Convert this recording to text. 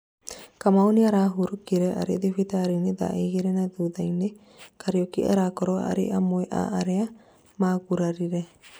Kamau nĩarahurũkire arĩ thibitarĩ thaa igĩrĩ na thutha-inĩ; Kariuki arakorwo arĩ amwe a arĩa maragũrarire